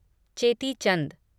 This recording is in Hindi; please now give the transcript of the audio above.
चेती चंद